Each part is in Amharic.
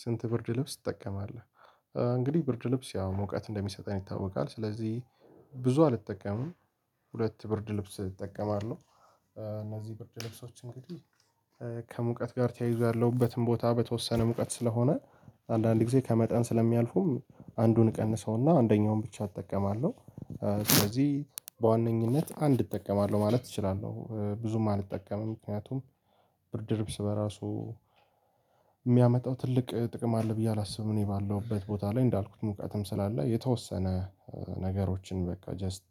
ስንት ብርድ ልብስ ትጠቀማለህ? እንግዲህ ብርድ ልብስ ያው ሙቀት እንደሚሰጠን ይታወቃል ስለዚህ ብዙ አልጠቀምም። ሁለት ብርድ ልብስ እጠቀማለሁ። እነዚህ ብርድ ልብሶች እንግዲህ ከሙቀት ጋር ተያይዞያለሁበትም ቦታ በተወሰነ ሙቀት ስለሆነ አንዳንድ ጊዜ ከመጠን ስለሚያልፉም አንዱን እቀንሰውና አንደኛውን ብቻ እጠቀማለሁ። ስለዚህ በዋነኝነት አንድ እጠቀማለሁ ማለት እችላለሁ ብዙም አልጠቀምም ምክንያቱም ብርድ ልብስ በራሱ የሚያመጣው ትልቅ ጥቅም አለ ብዬ አላስብም። እኔ ባለሁበት ቦታ ላይ እንዳልኩት ሙቀትም ስላለ የተወሰነ ነገሮችን በቃ ጀስት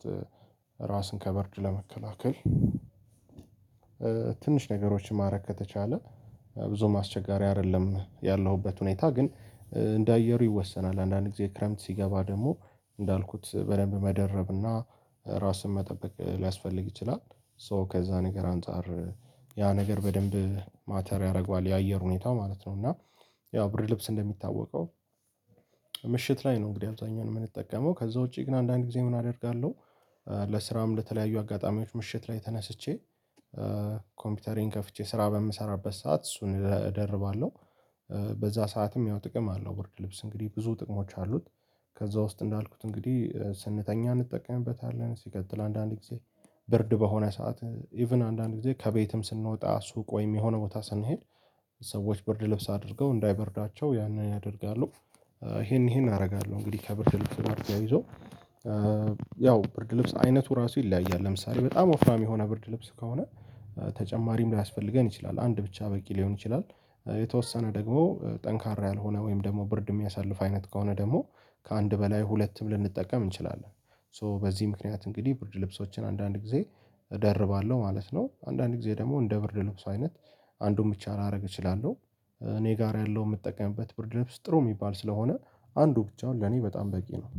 ራስን ከብርድ ለመከላከል ትንሽ ነገሮችን ማድረግ ከተቻለ ብዙም አስቸጋሪ አይደለም። ያለሁበት ሁኔታ ግን እንደ አየሩ ይወሰናል አንዳንድ ጊዜ ክረምት ሲገባ ደግሞ እንዳልኩት በደንብ መደረብና ራስን መጠበቅ ሊያስፈልግ ይችላል። ሶ ከዛ ነገር አንፃር ያ ነገር በደንብ ማተር ያደርገዋል የአየር ሁኔታው ማለት ነው። እና ያው ብርድ ልብስ እንደሚታወቀው ምሽት ላይ ነው። እንግዲህ አብዛኛውን የምንጠቀመው ከዛ ውጪ ግን አንዳንድ ጊዜ ምን አደርጋለሁ። ለስራም ለተለያዩ አጋጣሚዎች ምሽት ላይ ተነስቼ ኮምፒውተሬን ከፍቼ ስራ በምሰራበት ሰዓት እሱን እደርባለሁ። በዛ ሰዓትም ያው ጥቅም አለው ብርድ ልብስ እንግዲህ ብዙ ጥቅሞች አሉት። ከዛ ውስጥ እንዳልኩት እንግዲህ ስንተኛ እንጠቀምበታለን ሲቀጥል አንዳንድ ጊዜ ብርድ በሆነ ሰዓት ኢቭን አንዳንድ ጊዜ ከቤትም ስንወጣ ሱቅ ወይም የሆነ ቦታ ስንሄድ ሰዎች ብርድ ልብስ አድርገው እንዳይበርዳቸው ያንን ያደርጋሉ። ይሄን ይሄን አደርጋለሁ እንግዲህ ከብርድ ልብስ ጋር ተያይዞ ያው ብርድ ልብስ አይነቱ ራሱ ይለያያል። ለምሳሌ በጣም ወፍራም የሆነ ብርድ ልብስ ከሆነ ተጨማሪም ላያስፈልገን ይችላል አንድ ብቻ በቂ ሊሆን ይችላል። የተወሰነ ደግሞ ጠንካራ ያልሆነ ወይም ደግሞ ብርድ የሚያሳልፍ አይነት ከሆነ ደግሞ ከአንድ በላይ ሁለትም ልንጠቀም እንችላለን። ሶ በዚህ ምክንያት እንግዲህ ብርድ ልብሶችን አንዳንድ ጊዜ እደርባለሁ ማለት ነው። አንዳንድ ጊዜ ደግሞ እንደ ብርድ ልብስ አይነት አንዱን ብቻ ላደርግ እችላለሁ። እኔ ጋር ያለው የምጠቀምበት ብርድ ልብስ ጥሩ የሚባል ስለሆነ አንዱ ብቻውን ለኔ በጣም በቂ ነው